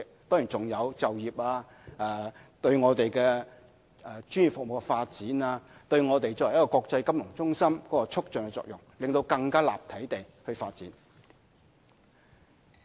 當然，好處還有就業、對專業服務發展、對我們作為國際金融中心的促進作用，讓我們更立體地發展。